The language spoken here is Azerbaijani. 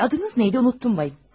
Şey, adınız nə idi, unutdum bəy.